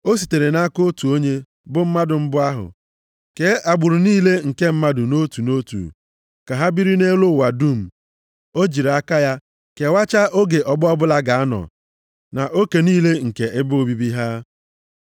O sitere nʼaka otu onye, bụ mmadụ mbụ ahụ, kee agbụrụ niile nke mmadụ nʼotu nʼotu, ka ha biri nʼelu ụwa dum. O jiri aka ya kewachaa oge ọgbọ ọbụla ga-anọ na oke niile nke ebe obibi ha.